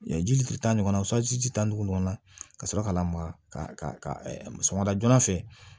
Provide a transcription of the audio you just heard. jilitita ɲɔgɔnnaw tan dugu kɔnɔna na ka sɔrɔ ka na maka sama da joona fɛ